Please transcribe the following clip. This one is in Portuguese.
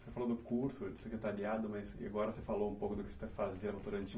Você falou do curso secretariado, mas agora você falou um pouco do que